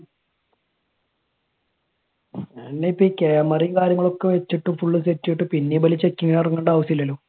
അല്ല, ഇപ്പൊ ഈ camera യും കാര്യങ്ങളും ഒക്കെ വെച്ചിട്ട് full set ചെയ്തിട്ട് പിന്നെയും ഇവർ checking ന് ഇറങ്ങേണ്ട ആവശ്യമില്ലല്ലോ.